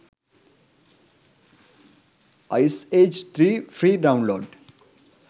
ice age 3 free download